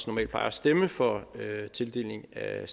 normalt plejer at stemme for tildeling af